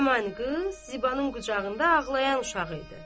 Həmin qız Zibanın qucağında ağlayan uşağı idi.